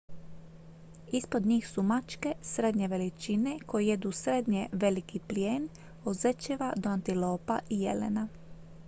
ispod njih su mačke srednje veličine koje jedu srednje veliki plijen od zečeva do antilopa i jelena